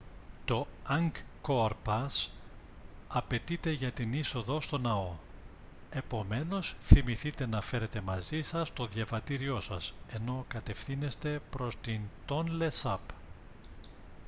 το angkor pass απαιτείται για την είσοδο στον ναό επομένως θυμηθείτε να φέρετε μαζί σας το διαβατήριό σας ενώ κατευθύνεστε προς την τόνλε σαπ